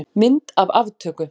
Mynd af aftöku.